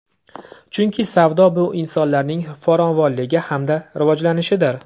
Chunki savdo bu insonlarning farovonligi hamda rivojlanishidir.